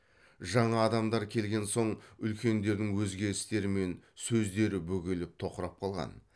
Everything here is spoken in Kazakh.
жаңа адамдар келген соң үлкендердің өзге істері мен сөздері бөгеліп тоқырап қалған